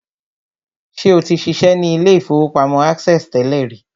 Ṣé o ti ṣiṣẹ́ ní ilé-ìfowópamọ́ access tẹ́lẹ̀ rí?